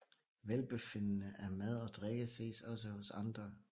Velbefindende af mad og drikke ses også hos andre